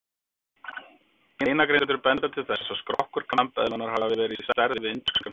Beinagrindur benda til þess að skrokkur kambeðlunnar hafi verið á stærð við indverskan fíl.